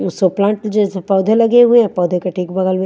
और प्लांट जेसे पोधे लगे हुए हैं पोधे के ठीक बगल में--